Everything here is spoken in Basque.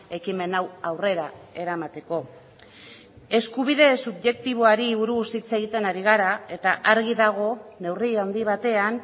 ekimen hau aurrera eramateko eskubide subjektiboari buruz hitz egiten ari gara eta argi dago neurri handi batean